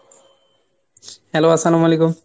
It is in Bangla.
hello আস্সালামালাইকুম